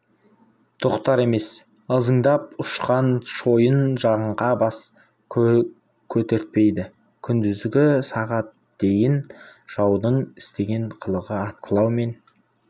тоқтар емес ызыңдап ұшқан шойын жаңқа бас көтертпейді күндізгі сағат дейін жаудың істеген қылығы атқылау мен